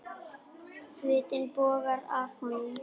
Svitinn bogar af honum.